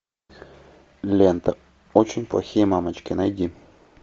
лента очень плохие мамочки найди